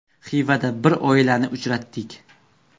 Xivada bir oilani uchratdik.